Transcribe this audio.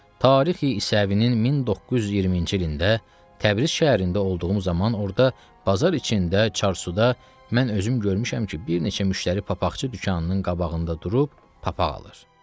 Tarix-i İsevini 1920-ci ilində Təbriz şəhərində olduğum zaman orda bazar içində çarsuda mən özüm görmüşəm ki, bir neçə müştəri papaqçı dükanının qabağında durub papaq alır.